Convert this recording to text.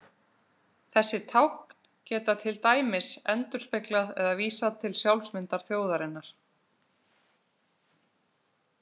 Þessi tákn geta til dæmis endurspeglað eða vísað til sjálfsmyndar þjóðarinnar.